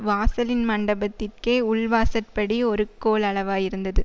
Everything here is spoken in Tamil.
வாசலின் மண்டபத்திற்கே உள்வாசற்படி ஒரு கோலளவாயிருந்தது